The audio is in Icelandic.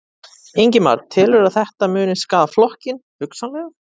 Ingimar: Telurðu að þetta muni skaða flokkinn, hugsanlega?